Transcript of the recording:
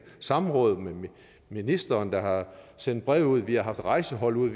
samråd med ministeren der har sendt breve ud vi har haft rejsehold ude